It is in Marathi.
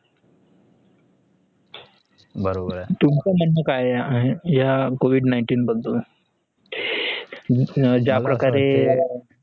तुमच्या म्हणणं काय आहे या covid nineteen बदल या ज्याप्रकारे